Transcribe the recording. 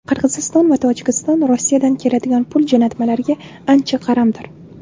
Qirg‘iziston va Tojikiston Rossiyadan keladigan pul jo‘natmalariga ancha qaramdir.